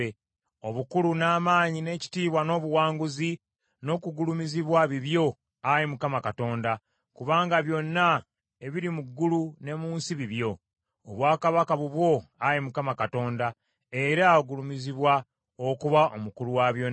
Obukulu, n’amaanyi, n’ekitiibwa, n’obuwanguzi, n’okugulumizibwa bibyo, Ayi Mukama Katonda, kubanga byonna ebiri mu ggulu ne mu nsi bibyo. Obwakabaka bubwo, Ayi Mukama Katonda, era ogulumizibwa okuba omukulu wa byonna.